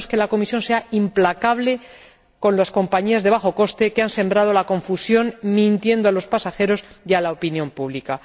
Necesitamos que la Comisión sea implacable con las compañías de bajo coste que han sembrado la confusión mintiendo a los pasajeros y a la opinión pública.